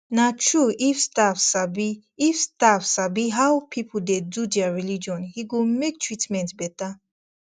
na true if staff sabi if staff sabi how people dey do their religion e go make treatment better